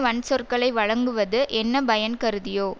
வன்சொற்களை வழங்குவது என்ன பயன் கருதியோ